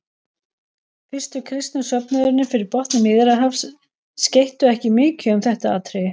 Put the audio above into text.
Fyrstu kristnu söfnuðirnir fyrir botni Miðjarðarhafs skeyttu ekki mikið um þetta atriði.